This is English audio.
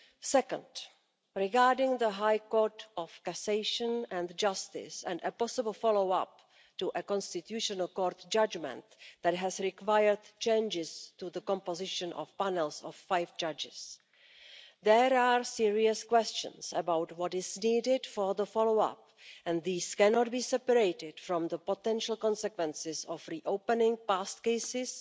Second, regarding the High Court of Cassation and Justice and a possible follow up to a constitutional court judgment that has required changes to the composition of panels of five judges there are serious questions about what is needed for the follow up and these cannot be separated from the potential consequences of re opening past cases,